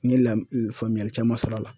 N ye lam faamuyali caman sɔr'a la